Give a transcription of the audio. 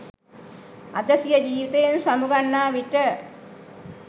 අද සිය ජීවිතයෙන් සමු ගන්නා විට